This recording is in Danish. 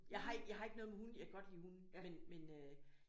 Jeg har jeg har ikke noget imod hunde jeg kan godt lide hunde men men øh